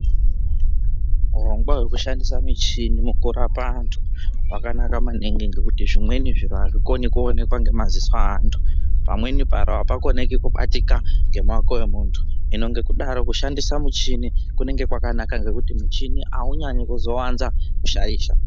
Hurongwa hwekushandisa michini mukurapa vantu hwakanaka maningi ngekuti zvimweni zviro hazvikone kuwonekwa nemaziso eantu, pamweni hapakoni kubatika ngemawoko emuntu hino ngekudaro kushandisa muchini kunenge kwakanaka ngekuti muchini haunyanye kuzowanze kushaisha.